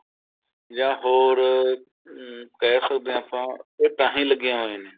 ਜਾਂ ਹੋਰ ਅਮ ਕਹਿ ਸਕਦੇ ਹਾਂ ਆਪਾਂ ਇਹ ਤਾਂਹੀ ਲੱਗੀਆ ਹੋਈਆ ਨੇ